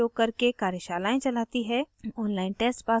spoken tutorials का उपयोग करके कार्यशालाएं चलाती है